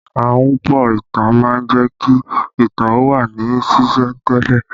Ahunpọ̀ ìtàn má ń jẹ́ kí ìtàn ó wà ní sìsẹ̀ntele